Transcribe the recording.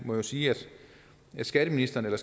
må sige at skatteministeren eller